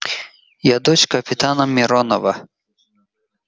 я дочь капитана миронова